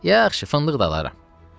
Yaxşı, fındıq da alaram.